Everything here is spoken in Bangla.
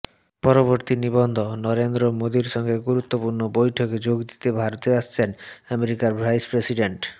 পরবর্তী নিবন্ধনরেন্দ্র মোদীর সঙ্গে গুরুত্বপূর্ণ বৈঠকে যোগ দিতে ভারতে আসছেন আমেরিকার ভাইস প্রেসিডেন্ট